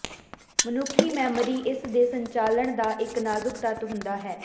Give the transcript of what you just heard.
ਮਨੁੱਖੀ ਮੈਮੋਰੀ ਇਸ ਦੇ ਸੰਚਾਲਨ ਦਾ ਇੱਕ ਨਾਜ਼ੁਕ ਤੱਤ ਹੁੰਦਾ ਹੈ